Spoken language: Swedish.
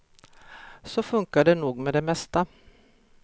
Så funkar det nog med det mesta.